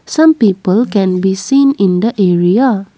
some people can be seen in the area.